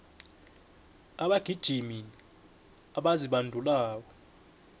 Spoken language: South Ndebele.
abagijimi abazibandulako